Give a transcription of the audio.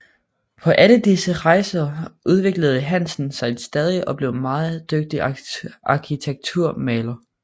På alle disse rejser udviklede Hansen sig stadig og blev en meget dygtig arkitekturmaler